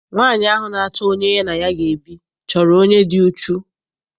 Nwaanyi ahụ na-achọ onye ya na ya ga ebi chọrọ onye dị uchu.